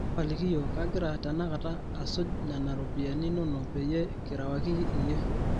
tapalaki iyiok ,kagira tenakata asujnena ropiyani inono peyie kirewaki iyhie